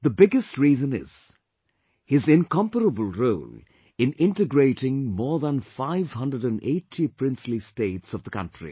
The biggest reason is his incomparable role in integrating more than 580 princely states of the country